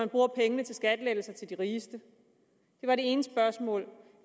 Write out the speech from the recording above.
bruger pengene til skattelettelser til de rigeste det var det ene spørgsmål